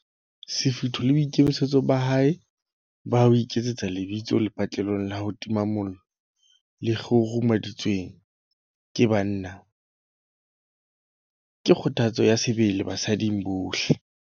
Sefutho le boikitlaetso ba hae ba ho iketsetsa lebitso lepatlelong la ho tima mollo le kguru-meditsweng ke banna, ke kgothatso ya sebele basading bohle.